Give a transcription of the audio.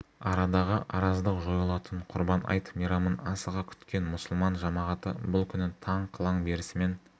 арадағы араздық жойылатын құрбан айт мейрамын асыға күткен мұсылман жамағаты бұл күні таң қылаң берісімен